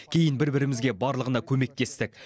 кейін бір бірімізге барлығына көмектестік